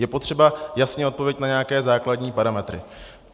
Je potřeba jasně odpovědět na nějaké základní parametry.